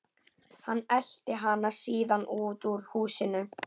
Hann elti hana síðan út úr húsinu.